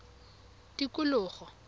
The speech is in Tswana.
tikologo